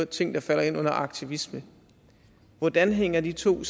ting der falder ind under aktivisme hvordan hænger de to